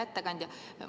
Hea ettekandja!